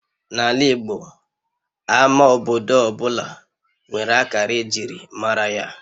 N'ala Igbo, Ama obodo ọ bụla nwere akara ejiri mara ya